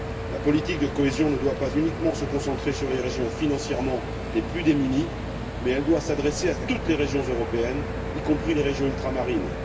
La politique de cohésion ne doit pas uniquement se concentrer sur les régions financièrement les plus démunies, mais elle doit s'adresser à toutes les régions européennes, y compris les régions ultramarines.